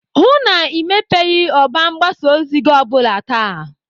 Hụụ na Ị mepeghị ọba mgbasa ozi gị o bụla taa!